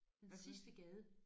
Hvad for noget?